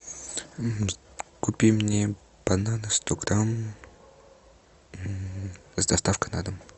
купи мне бананы сто грамм с доставкой на дом